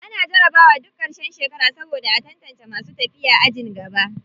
Ana jarabawa duk ƙarshen shekara saboda a tantace masu tafiya ajin gaba.